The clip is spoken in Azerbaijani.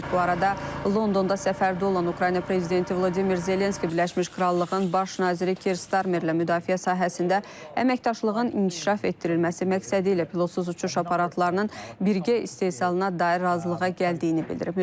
Bu arada Londonda səfərdə olan Ukrayna prezidenti Vladimir Zelenski Birləşmiş Krallığın baş naziri Kier Starmerlə müdafiə sahəsində əməkdaşlığın inkişaf etdirilməsi məqsədi ilə pilotsuz uçuş aparatlarının birgə istehsalına dair razılığa gəldiyini bildirib.